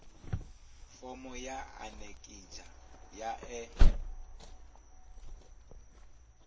fomo ya anekizha ya e